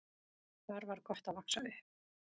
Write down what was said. Þar var gott að vaxa upp.